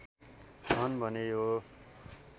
छन् भने यो